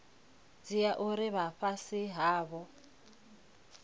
dzhia uri vha fhasi havho